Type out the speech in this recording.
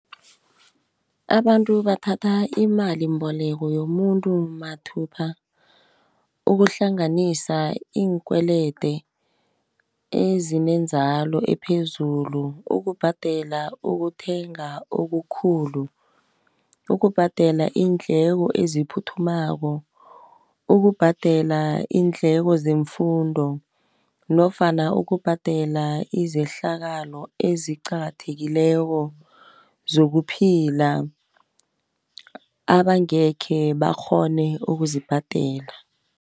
Abantu bathatha imalimboleko yomuntu mathupha ukuhlanganisa iinkwelede ezine inzalo ephezulu, ukubhadela, ukuthenga okukhulu, ukubhadela iindleko eziphuthumako, ukubhadela iindleko zemfundo nofana ukubhadela izehlakalo eziqakathekileko zokuphila, abangekhe bakghone ukuzibhadela.